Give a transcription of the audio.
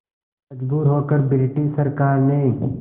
मजबूर होकर ब्रिटिश सरकार ने